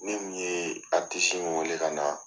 Ne mun ye in wele ka na